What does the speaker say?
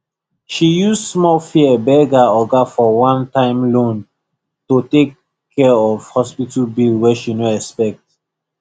she use small fear beg her oga for onetime loan to take care of hospital bill wey she no expect